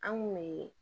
An kun bɛ